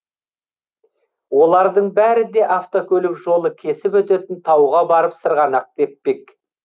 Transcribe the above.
олардың бәрі де автокөлік жолы кесіп өтетін тауға барып сырғанақ теппек